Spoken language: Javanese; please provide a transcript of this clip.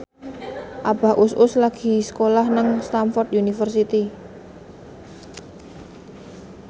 Abah Us Us lagi sekolah nang Stamford University